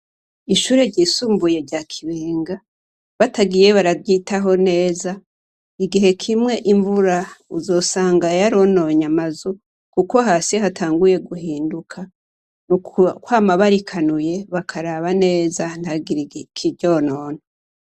Ishure ryisumbuye rya Kibenga, batagiye bararyitaho neza, igihe kimwe imvura uzosanga yarononye amazu kuko hasi hatanguye guhinduka. Ni ukwama barikanuye bakaraba neza ntihagitre ikiryonona.